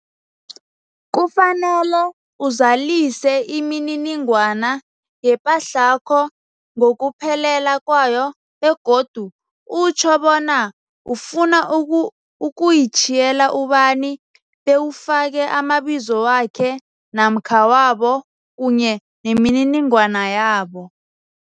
Kufanele uzalise imininingwana yepahlakho ngokuphelela kwayo begodu utjho bona ufuna uku ukuyitjhiyela ubani, bewufake amabizo wakhe namkha wabo kunye nemininingwana yabo.